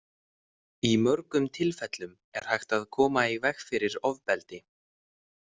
Í mörgum tilfellum er hægt að koma í veg fyrir ofbeldi.